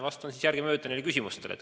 Vastan järgemööda neile küsimustele.